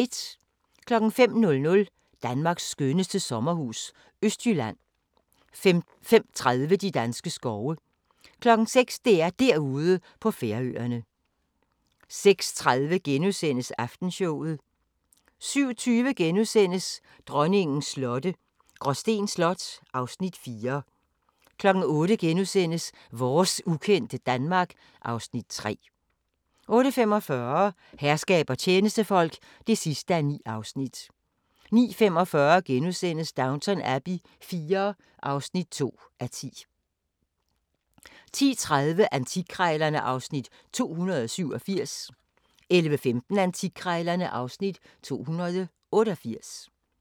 05:00: Danmarks skønneste sommerhus – Østjylland 05:30: De danske skove 06:00: DR-Derude på Færøerne 06:30: Aftenshowet * 07:20: Dronningens slotte – Gråsten Slot (Afs. 4)* 08:00: Vores ukendte Danmark (Afs. 3)* 08:45: Herskab og tjenestefolk (9:9) 09:45: Downton Abbey IV (2:10)* 10:30: Antikkrejlerne (Afs. 287) 11:15: Antikkrejlerne (Afs. 288)